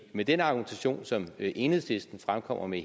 med den argumentation som enhedslisten fremkommer med